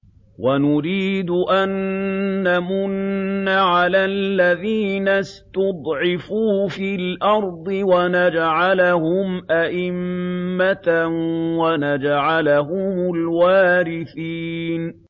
وَنُرِيدُ أَن نَّمُنَّ عَلَى الَّذِينَ اسْتُضْعِفُوا فِي الْأَرْضِ وَنَجْعَلَهُمْ أَئِمَّةً وَنَجْعَلَهُمُ الْوَارِثِينَ